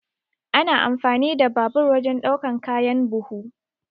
Ana amfani da babur wajan ɗaukan kayan buhu.